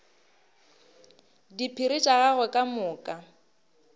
diphiri tša gagwe ka moka